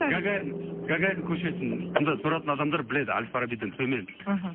гагарин гагарин көшесінде тұратын адамдар біледі әл фарабиден төмен мхм